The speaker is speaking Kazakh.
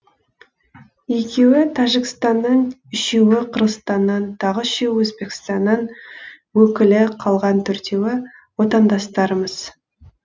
екеуі тәжікстаннан үшеуі қырғызстаннан тағы үшеуі өзбекстанның өкілі қалған төртеуі отандастарымыз